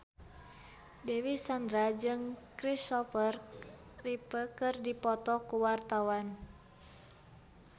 Dewi Sandra jeung Christopher Reeve keur dipoto ku wartawan